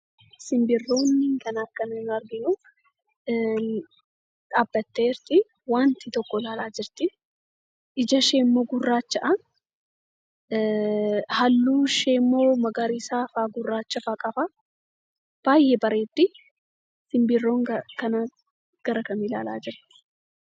Simbirroonni kana, kan nuyi arginu, dhaabbatte jirti. waanta tokko ilaala jirti. Ijisheemmoo gurraacha. Halluun isheemmoo magariisa fi gurraachafaa qaba. Baay'ee bareeddi. Simbirroon kun gara kam ilaalaa jirti.